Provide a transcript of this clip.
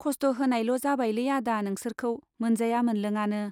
खस्थ' होनायल' जाबायलै आदा नोंसोरखौ, मोनजाया मोनलोङानो।